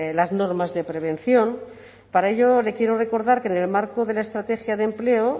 las normas de prevención para ello le quiero recordar que en el marco de la estrategia de empleo